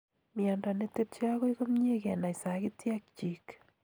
Miondo netepchei akoi komyiei kenai sagityek chiik